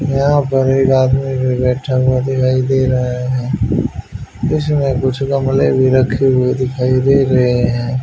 यहां पर एक आदमी भी बैठा हुआ दिखाई दे रहा है इसमें कुछ गमले भी रखे हुए दिखाई दे रहे हैं।